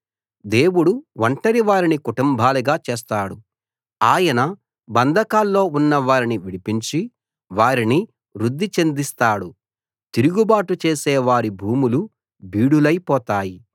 దేవుడు ఒంటరి వారిని కుటుంబాలుగా చేస్తాడు ఆయన బంధకాల్లో ఉన్న వారిని విడిపించి వారిని వృద్ధి చెందిస్తాడు తిరుగుబాటు చేసే వారి భూములు బీడులైపోతాయి